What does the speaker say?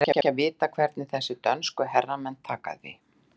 Það er ekki að vita hvernig þessir dönsku herramenn taka því.